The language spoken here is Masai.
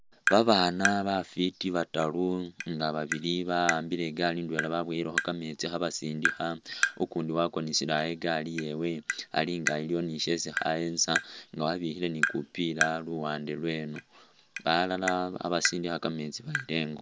Babana bafiti bataru nga babili bahambile igaali indwela babuwelekho kameetsi khe basindikha ukundi wakonesele eha igali iyewe alinga iliwo ni shesi alikho ayetsa nga abikhile ni khupila luwande lweno balala khebasindikha kameetsi bayila ingo